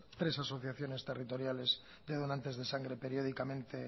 tres asociaciones territoriales de donantes de sangre periódicamente